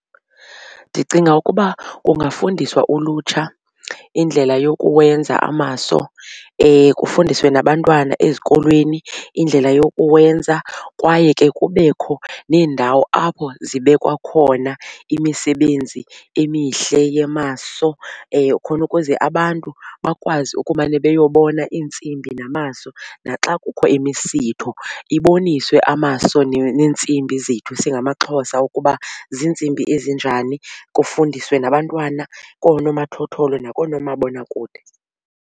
Ndicinga ukuba kungafundiswa ulutsha indlela yokuwenza amaso kufundiswe nabantwana ezikolweni indlela yokuwenza kwaye ke kubekho neendawo apho zibekwa khona imisebenzi emihle yamaso khona ukuze abantu bakwazi ukumane beyobona iintsimbi namaso. Naxa kukho imisitho iboniswe amaso neentsimbi zethu singamaXhosa ukuba ziintsimbi ezinjani. Kufundiswe nabantwana koonomathotholo nakoomabonakude.